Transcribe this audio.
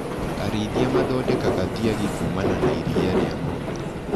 Arĩithia mathondekaga thiagi kumana na iria rĩa ngombe.